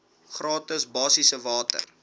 gratis basiese water